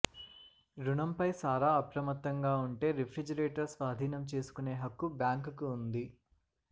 రుణంపై సారా అప్రమత్తంగా ఉంటే రిఫ్రిజిరేటర్ స్వాధీనం చేసుకునే హక్కు బ్యాంకుకు ఉంది